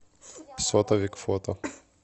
сотовик фото